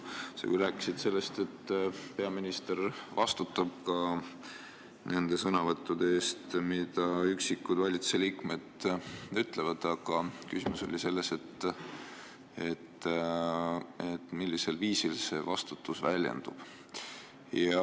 Sa küll rääkisid, et peaminister vastutab ka nende sõnade eest, mida üksikud valitsusliikmed ütlevad, aga küsimus on selles, millisel viisil see vastutus väljendub.